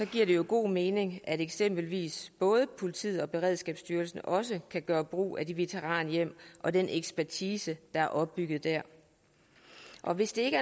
giver det jo god mening at eksempelvis politiet og beredskabsstyrelsen også kan gøre brug af de veteranhjem og den ekspertise der er opbygget der så hvis der